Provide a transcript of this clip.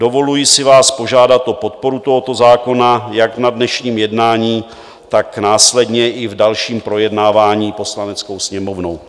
Dovoluji si vás požádat o podporu tohoto zákona jak na dnešním jednání, tak následně i v dalším projednávání Poslaneckou sněmovnou.